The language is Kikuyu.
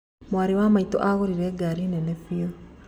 Mwarĩ wa maĩtũ agũrire ngari nene bĩu.